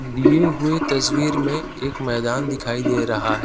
दिए हुए तस्वीर में एक मैदान दिखाई दे रहा है।